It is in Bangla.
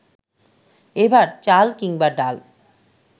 এবার চাল কিংবা ডাল